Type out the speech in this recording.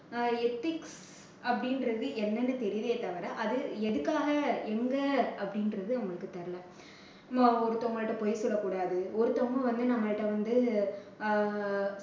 அஹ் ethics அப்படின்றது என்னன்னு தெரியுதே தவிர அது எதுக்காக எங்க அப்படின்றது வந்து அவங்களுக்கு தெரியல. நம்ம ஒருத்தவங்க கிட்ட பொய் சொல்லக்கூடாது ஒருத்தவங்க வந்து நம்ம கிட்ட வந்து ஆஹ்